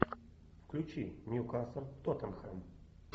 включи ньюкасл тоттенхэм